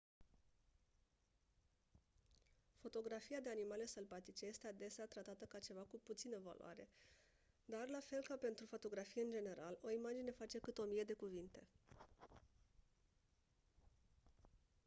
fotografia de animale sălbatice este adesea tratată ca ceva cu puțină valoare dar la fel ca pentru fotografie în general o imagine face cât o mie de cuvinte